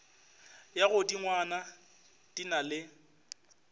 ya godingwana di na le